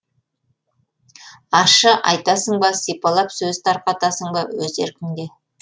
ащы айтасың ба сипалап сөз тарқатасың ба өз еркіңде